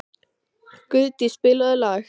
Guðdís, spilaðu lag.